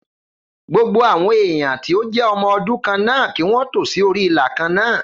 Gbogbo àwọn èèyàn tí o jé ọmọ ọdún kan náà kí wón tò sí orí ìlà kàn náà